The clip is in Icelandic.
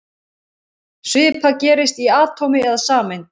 Svipað gerist í atómi eða sameind.